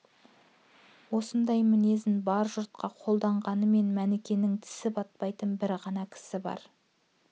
осындай мінезін бар жұртқа қолданғанмен мәнікенің тісі батпайтын бір ғана кісі бар